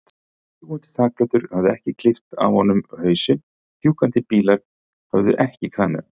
Fljúgandi þakplötur höfðu ekki klippt af honum hausinn, fjúkandi bílar höfðu ekki kramið hann.